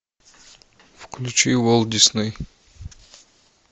включи уолт дисней